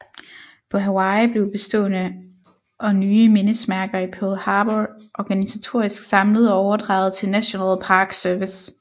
På Hawaii blev bestående og nye mindesmærker i Pearl Harbor organisatorisk samlet og overdraget til National Park Service